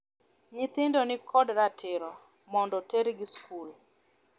Nyithindo ni kod ratiro mondo tergi skul.